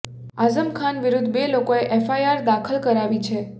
આઝમ ખાન વિરુદ્ધ બે લોકોએ એફઆઇઆર દાખલ કરાવી છે